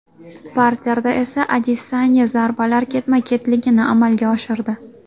Parterda esa Adesanya zarbalar ketma-ketligini amalga oshirdi.